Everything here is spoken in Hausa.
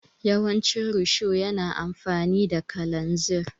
Yawancin risho yana amfani da kalanzir.